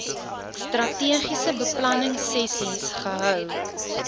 strategiese beplanningsessies gehou